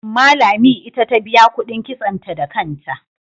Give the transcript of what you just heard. Amma Lami ita ta biya kuɗin kitsonta da kanta.